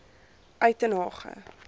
uitenhage